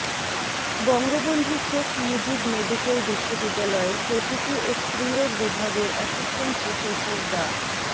Bangabandhu Sheikh Mujib medical বিশ্ববিদ্যালয়ের প্রসূতি ও স্ত্রীরোগ বিভাগের অ্যাসিসটেন্ট প্রফেসর ডা